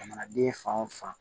Jamanaden fan o fan